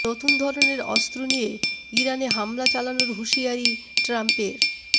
নতুন ধরনের অস্ত্র নিয়ে ইরানে হামলা চালানোর হুঁশিয়ারি ট্রাম্পের